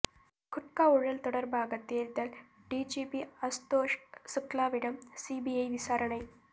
குட்கா ஊழல் தொடர்பாக தேர்தல் டிஜிபி அசுதோஷ் சுக்லாவிடம் சிபிஐ விசாரணை